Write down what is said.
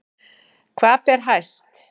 Hvað ber hæst